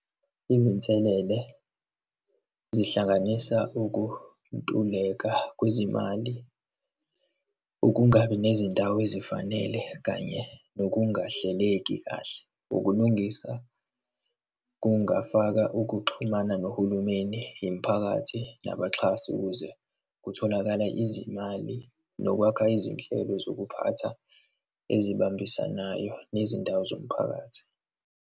Izinselele zihlanganisa ukuntuleka kwezimali, ukungabi nezindawo ezifanele kanye nokungahleleki kahle. Ukulungisa kungafaka ukuxhumana nohulumeni, imiphakathi nabaxhasi ukuze kutholakala izimali nokwakha izinhlelo zokuphatha ezibambisanayo nezindawo zomphakathi.